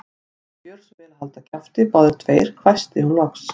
Viljiði gjöra svo vel að halda kjafti, báðir tveir hvæsti hún loks.